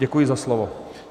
Děkuji za slovo.